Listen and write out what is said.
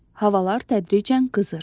Havalar tədricən qızır.